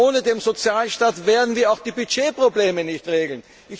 Ohne den Sozialstaat werden wir auch die Budgetprobleme nicht regeln.